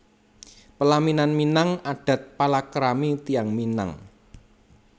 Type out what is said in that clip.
Pelaminan Minang adat palakrami tiyang Minang